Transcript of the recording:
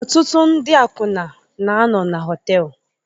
Ọtụtụ ndị akwụna na-anọ na họtel